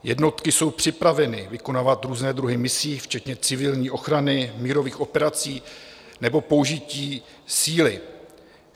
Jednotky jsou připraveny vykonávat různé druhy misí, včetně civilní ochrany, mírových operací nebo použití síly.